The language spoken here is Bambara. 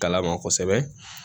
Kala ma kosɛbɛ